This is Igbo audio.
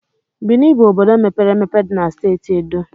Bini bụ obodo mepere emepe dị na Steeti Edo.